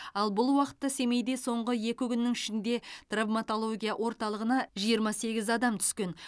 ал бұл уақытта семейде соңғы екі күннің ішінде травматология орталығына жиырма сегіз адам түскен